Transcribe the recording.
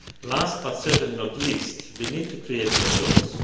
Last, but certainly not least, we need to create more jobs.